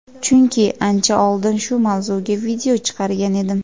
chunki ancha oldin shu mavzuga video chiqargan edim.